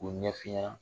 K'o ɲɛf'i ɲɛna